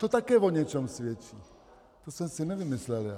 To také o něčem svědčí, to jsem si nevymyslel já.